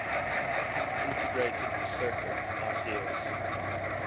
integrated circuits ics